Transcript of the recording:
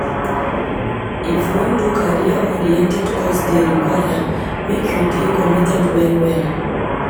If you wan do career-oriented course dey require make you dey committed well-well.